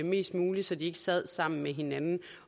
mest muligt så de ikke sidder sammen med hinanden